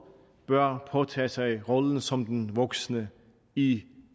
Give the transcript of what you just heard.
bør påtage sig rollen som den voksne i